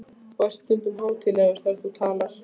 Þú ert stundum hátíðlegur þegar þú talar.